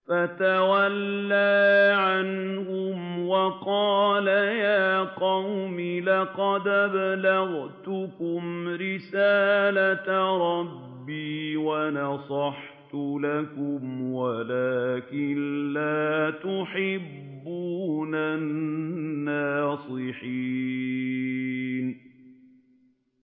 فَتَوَلَّىٰ عَنْهُمْ وَقَالَ يَا قَوْمِ لَقَدْ أَبْلَغْتُكُمْ رِسَالَةَ رَبِّي وَنَصَحْتُ لَكُمْ وَلَٰكِن لَّا تُحِبُّونَ النَّاصِحِينَ